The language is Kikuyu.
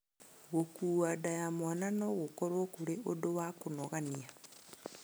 Gũkua nda ya mwana no gũkorũo kũrĩ ũndũ wa kũnogania.